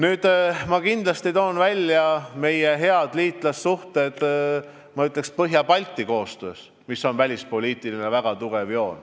Ma aga toon kindlasti välja meie head liitlassuhted Põhja-Balti koostöös, mis on meil tugev välispoliitiline joon.